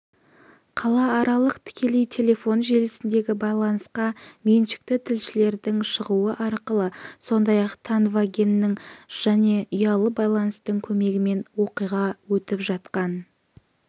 қалааралық тікелей телефон желісіндегі байланысқа меншікті тілшілердің шығуы арқылы сондай-ақ тонвагеннің және ұялы байланыстың көмегімен оқиға өтіп жатқан